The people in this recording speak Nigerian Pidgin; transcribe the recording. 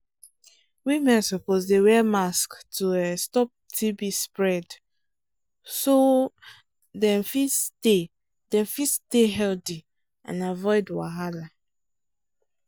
women suppose dey wear mask to um stop tb spread um so dem fit stay dem fit stay healthy and avoid wahala